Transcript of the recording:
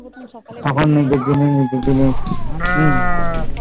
তখন নিজের জিনিস কি